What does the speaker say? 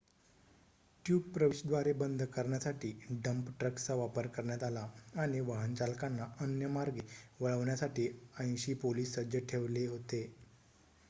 tube प्रवेशद्वारे बंद करण्यासाठी डंप ट्रक्सचा वापर करण्यात आला आणि वाहन चालकांना अन्य मार्गे वळवण्यासाठी 80 पोलिस सज्ज ठेवले होते